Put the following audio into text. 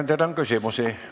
Ettekandjale on küsimusi.